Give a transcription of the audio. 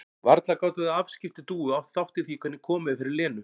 Varla gátu þau afskipti Dúu átt þátt í því hvernig komið er fyrir Lenu?